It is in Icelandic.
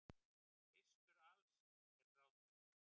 Fyrstur alls er gráturinn.